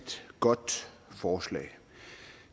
godt forslag